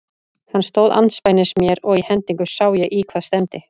Hann stóð andspænis mér og í hendingu sá ég í hvað stefndi.